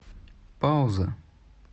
пауза